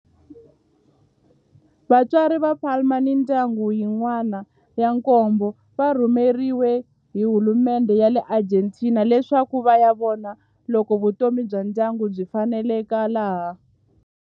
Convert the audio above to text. Vatswari va Palma ni mindyangu yin'wana ya nkombo va rhumeriwe hi hulumendhe ya le Argentina leswaku va ya vona loko vutomi bya ndyangu byi faneleka laha.